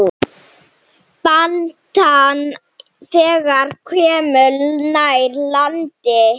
Batnar, þegar komum nær landi.